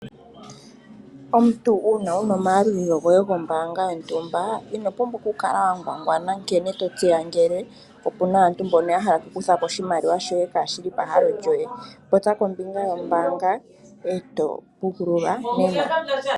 Omuntu uuna wu na omayalulilo goye gombaanga yontumba ino pumbwa okukala wa ngwangwana nkene to tseya ngele opu na aantu mboka ya hala okukutha ko oshimaliwa hoye kaa shi li pahalo lyoye. Popya kombinga yombaanga e to pukululwa nena.